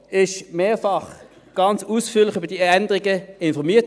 Die FiKo wurde mehrfach ganz ausführlich über diese Änderungen informiert.